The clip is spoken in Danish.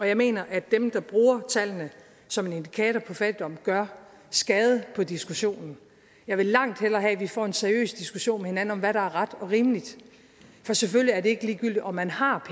jeg mener at dem der bruger tallene som en indikator på fattigdom gør skade på diskussionen jeg vil langt hellere have at vi får en seriøs diskussion med hinanden om hvad der er ret og rimeligt for selvfølgelig er det ikke ligegyldigt om man har